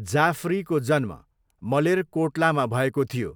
जाफरीको जन्म मलेरकोट्लामा भएको थियो